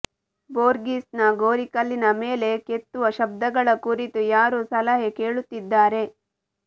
Borges ನ ಗೋರಿಕಲ್ಲಿನ ಮೇಲೆ ಕೆತ್ತುವ ಶಬ್ದಗಳ ಕುರಿತು ಯಾರೋ ಸಲಹೆ ಕೇಳುತ್ತಿದ್ದಾರೆ